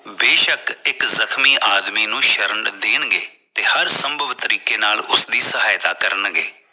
ਬੇਸ਼ੱਕ ਇਕ ਜਖ਼ਮੀ ਆਦਮੀ ਨੂੰ ਸ਼ਰਨ ਦੇਣ ਗਏ ਤੇ ਹਰ ਸੰਬਵ ਤਰੀਕੇ ਨਾਲ ਉਸਦੀ ਸਹਇਤਾ ਕਰਨ ਗਏ